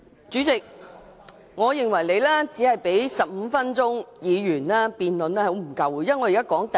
主席，我認為你只給予議員15分鐘發言辯論，是十分不足夠的。